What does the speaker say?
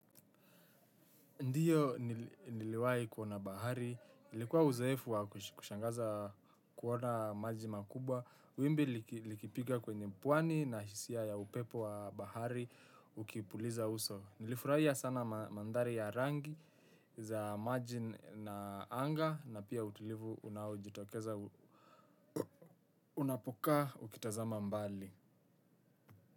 Ndio niliwahi kuona bahari, ilikuwa uzoefu wa kushangaza kuona maji makubwa, wimbi likipiga kwenye pwani na hisia ya upepo wa bahari, ukipuliza uso. Nilifurahia sana mandhari ya rangi za maji na anga, na pia utulivu unaojitokeza unapokaa ukitazama mbali.